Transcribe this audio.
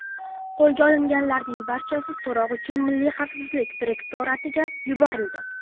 Qo‘lga olinganlarning barchasi so‘roq uchun Milliy xavfsizlik direktoratiga yuborildi.